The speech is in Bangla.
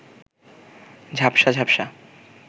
ঝাপসা ঝাপসা